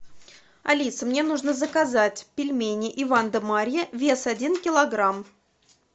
алиса мне нужно заказать пельмени иван да марья вес один килограмм